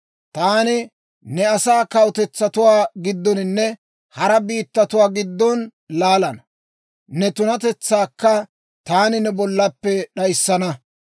Taani ne asaa kawutetsatuwaa giddoninne hara biittatuwaa giddon laalana; ne tunatetsaakka taani ne bollappe d'ayissana.